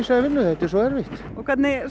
vinnu þetta er svo erfitt hvernig